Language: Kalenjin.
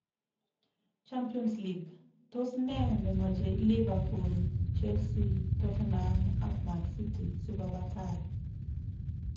Champions League:Tos nee ne machei Liverpool, Chelsea, Tottenham ak Man City sikoba tai